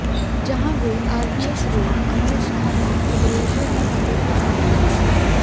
जहां वे RBS road Angus थाना भदरेश्वर के पते पर रहने लगे